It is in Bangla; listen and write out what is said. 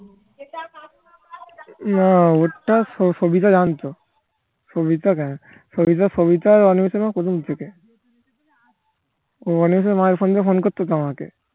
না ওর টা স সবিতা জানতো সবিতা অনিমেষের মা প্রথম থেকে ও অনিমেষের মা এর ফোন দিয়ে ফোন করতো তো আমাকে